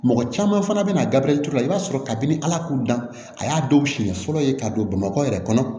Mɔgɔ caman fana bɛna gabirɛti la i b'a sɔrɔ kabini ala k'u dan a y'a dɔw siɲɛ fɔlɔ ye ka don bamakɔ yɛrɛ kɔnɔ